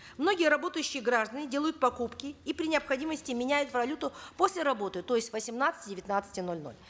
многие работающие граждане делают покупки и при необходимости меняют валюту после работы то есть с восемнадцати девятнадцати ноль ноль